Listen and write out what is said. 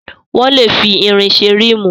Wọ́n lè fi irin ṣe ríìmù.